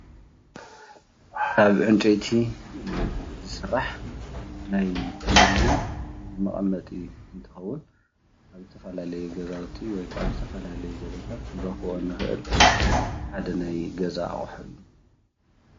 ካብ ዕንጨይቲ ዝስራሕ ናይ ቴሌዤን መቀመጢ እንትኸውን ኣብ ዝተፈላለዩ ገዛውቲ ኽንረኽቦ እንኽእል ሓደ ናይ ገዛ ኣቁሑ እዩ።